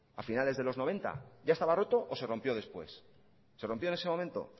a finales de los noventa ya estaba roto o se rompió después se rompió en ese momento